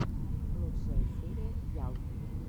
лучшая серия ял